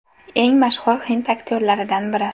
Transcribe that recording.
Eng mashhur hind aktyorlaridan biri.